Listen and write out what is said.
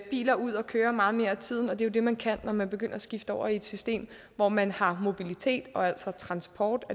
biler ud at køre meget mere af tiden og det er jo det man kan når man begynder at skifte over til et system hvor man har mobilitet og altså transport